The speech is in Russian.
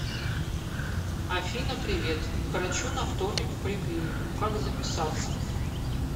афина привет к врачу на вторник в поликлинику как записаться